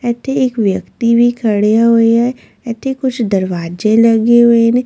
ਇੱਥੇ ਇੱਕ ਵਿਅਕਤੀ ਵੀ ਖੜਿਆ ਹੋਇਆ ਹੈ ਇੱਥੇ ਕੁੱਝ ਦਰਵਾਜ਼ੇ ਲੱਗੇ ਹੋਏ ਨੇ।